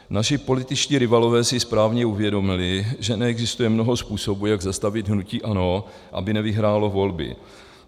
Naši političtí rivalové si správně uvědomili, že neexistuje mnoho způsobů, jak zastavit hnutí ANO, aby nevyhrálo volby.